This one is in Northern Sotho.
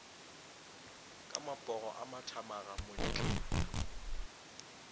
ka mapogo a mathamaga montle